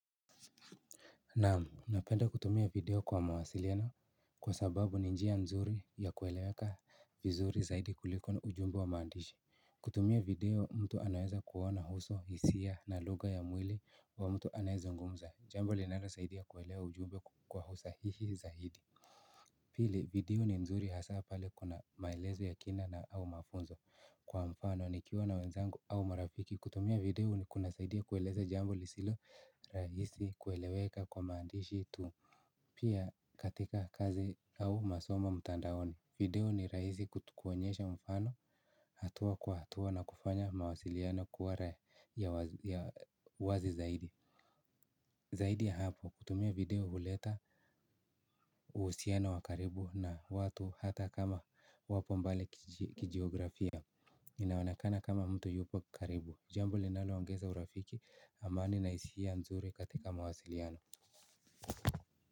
Naam, napenda kutumia video kwa mawasiliano kwa sababu ni njia nzuri ya kueleweka vizuri zaidi kuliko ujumbe wa maandishi kutumia video mtu anaweza kuona uso hisia na lugha ya mwili wa mtu anayezungumza jambo linalosaidia kuelewa ujumbe kwa usahihi hii zaidi pili, video ni nzuri hasa pale kuna maelezo ya kina na au mafunzo kwa mfano nikiwa na wenzangu au marafiki kutumia video kunasaidia kueleza jambo lisilo rahisi kueleweka kwa maandishi tu pia katika kazi au masomo mtandaoni video ni rahisi kutu kuonyesha mfano hatua kwa hatua na kufanya mawasiliano kuwa ya uwazi zaidi zaidi hapo kutumia video huleta uhusiano wa karibu na watu hata kama wapo mbele kijiografia inaonekana kama mtu yupo karibu jambo linalo ongeza urafiki amani na hisia nzuri katika mawasiliano.